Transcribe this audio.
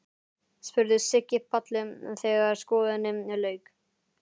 spurði Siggi Palli þegar skoðuninni lauk.